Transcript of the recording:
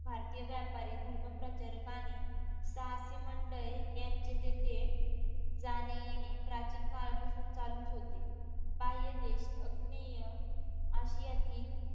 भारतीय व्यापारी धर्म प्रचारकाने साहसी मंडळी यांचे तेथे जाणे येणे प्राचीन काळापासून चालूच होते बाह्य देश आग्नेय आशियातील